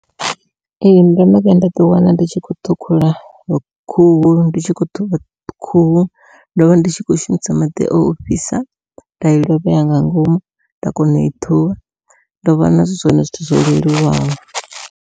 Ee ndo no vhuya nda ḓi wana ndi tshi khou ṱhukhula khuhu ndi tshi khou ṱhuvha khuhu ndovha ndi tshi khou shumisa maḓi o fhisa nda i lovhea nga ngomu nda kona ui ṱhuvha ndo vhona hu zwone zwithu zwo leluwaho.